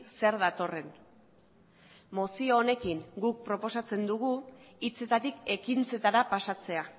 zer datorren mozio honekin guk proposatzen dugu hitzetatik ekintzetara pasatzea